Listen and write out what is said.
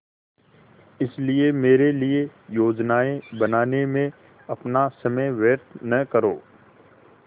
इसलिए मेरे लिए योजनाएँ बनाने में अपना समय व्यर्थ न करो